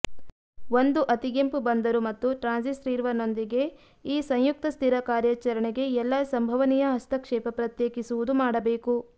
ಒಂದು ಅತಿಗೆಂಪು ಬಂದರು ಮತ್ತು ಟ್ರಾನ್ಸ್ರಿಸೀವರ್ನೊಂದಿಗೆ ಈ ಸಂಯುಕ್ತ ಸ್ಥಿರ ಕಾರ್ಯಾಚರಣೆಗೆ ಎಲ್ಲಾ ಸಂಭವನೀಯ ಹಸ್ತಕ್ಷೇಪ ಪ್ರತ್ಯೇಕಿಸುವುದು ಮಾಡಬೇಕು